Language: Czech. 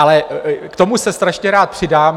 Ale k tomu se strašně rád přidám.